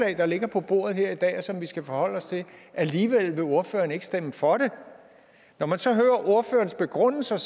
der ligger på bordet her i dag og som vi skal forholde os til alligevel vil ordføreren ikke stemme for det når man så hører ordførerens begrundelse er